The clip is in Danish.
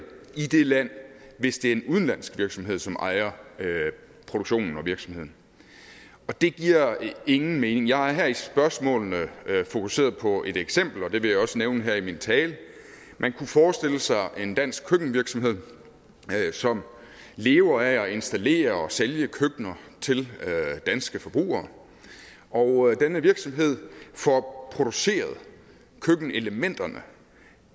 i det land hvis det er en udenlandsk virksomhed som ejer produktionen og virksomheden og det giver ingen mening jeg har her i spørgsmålene fokuseret på et eksempel og det vil jeg også nævne her i min tale man kunne forestille sig en dansk køkkenvirksomhed som lever af at installere og sælge køkkener til danske forbrugere og denne virksomhed får produceret køkkenelementerne